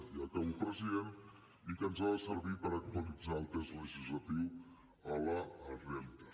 i acabo president i que ens ha de servir per actualitzar el text legislatiu a la realitat